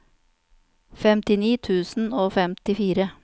femtini tusen og femtifire